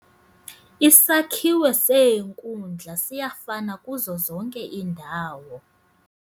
Isakhiwo seenkundla siyafana kuzo zonke iindawo.